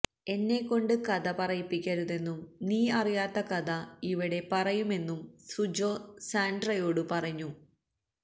എന്നെ കൊണ്ട് കഥ പറയിപ്പിക്കരുതെന്നും നീ അറിയാത്ത കഥ ഇവടെ പറയുമെന്നും സുജോ സാന്ഡ്രയോട് പറയുന്നു